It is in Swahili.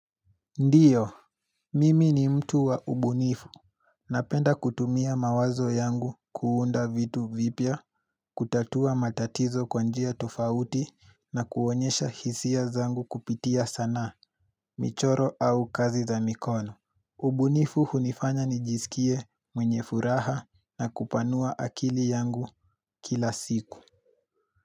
Ndiyo, mimi ni mtu wa ubu nifu, napenda kutumia mawazo yangu kuunda vitu vipya, kutatua matatizo kwanjia tofauti na kuonyesha hisia zangu kupitia sana, michoro au kazi za mikono Ubu nifu hunifanya nijisikie mwenye furaha na kupanua akili yangu kila siku.